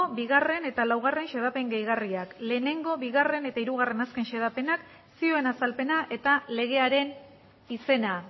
bigarrena eta lau xedapen gehigarriak bat bigarrena eta hiru azken xedapenak zioen azalpena eta legearen izena